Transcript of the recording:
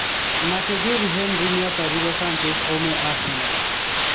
Nake Thierry Henry nĩ atarire Sanchez aume Arsenal.